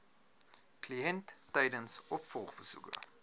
kliënt tydens opvolgbesoeke